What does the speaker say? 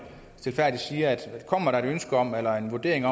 stilfærdigt siger at kommer der et ønske om eller en vurdering